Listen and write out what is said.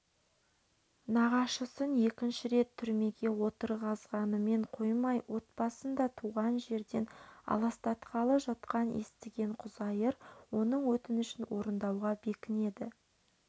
нағашысын екінші рет түрмеге отырғызғанымен қоймай отбасын да туған жерден алсатағалы жатқанын естіген құзайыр оның өтінішін орындауға бекінеді